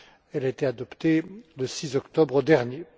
Elle a été adoptée le 6 octobre dernier.